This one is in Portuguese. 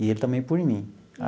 E ele também por mim.